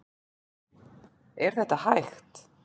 Er þetta hægt?